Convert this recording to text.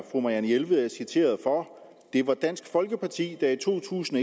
fru marianne jelved er citeret det var dansk folkeparti der i to tusind